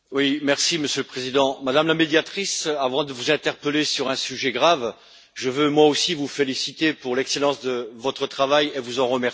Monsieur le Président, Madame la Médiatrice, avant de vous interpeller sur un sujet grave, je veux, moi aussi, vous féliciter pour l'excellence de votre travail et vous en remercier.